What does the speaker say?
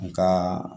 Nga